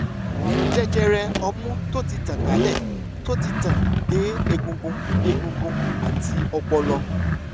àrùn jẹjẹrẹ ọmú tó ti tàn kálẹ̀ tó ti tàn dé egungun egungun àti ọpọlọ